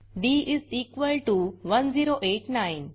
D 1089